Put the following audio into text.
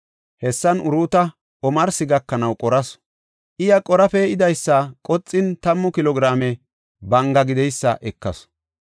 Hessan Uruuta omarsi gakanaw qorasu. Iya qora pe7idaysa qoxin, tammu kilo giraame banga gideysa ekasu.